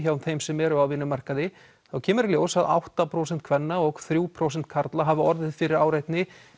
hjá þeim sem eru á vinnumarkaði þá kemur í ljós að átta prósent kvenna og þrjú prósent karla hafa orðið fyrir áreitni